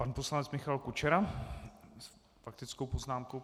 Pan poslanec Michal Kučera s faktickou poznámkou.